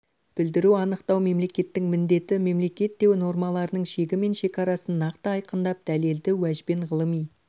білдіру анықтау мемлекеттің міндеті мемлекет те нормаларының шегі мен шекарасын нақты айқындап дәлелді уәжбен ғылыми